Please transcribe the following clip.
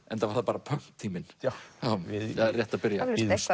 enda var það bara pönktíminn rétt að byrja